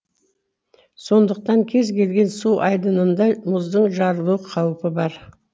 сондықтан кез келген су айдынында мұздың жарылу қаупі бар